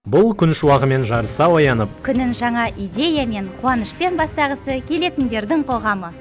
бұл күн шуағымен жарыса оянып күнін жаңа идеямен қуанышпен бастағысы келетіндердің қоғамы